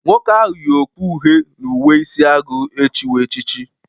Nwoke ahụ yị okpu uhe na uwe isi agụ echiwo echichi.